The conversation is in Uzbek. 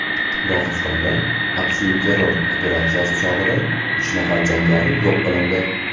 Dog‘istonda aksilterror operatsiyasi chog‘ida uch nafar jangari yo‘q qilindi.